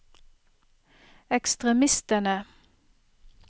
ekstremistene